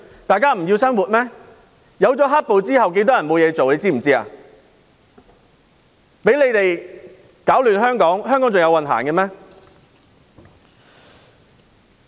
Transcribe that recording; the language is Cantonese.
多少人在"黑暴"後失業，他們攪亂香港，香港還有運行嗎？